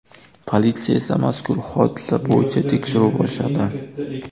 Politsiya esa mazkur hodisa bo‘yicha tekshiruv boshladi.